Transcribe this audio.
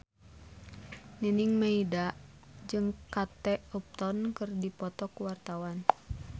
Nining Meida jeung Kate Upton keur dipoto ku wartawan